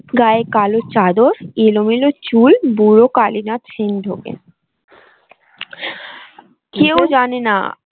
গায়ে কালো চাদর এলো মেলো চুল বুড়ো কালীনাথ সেন ঢোকেন কেউ জানে না।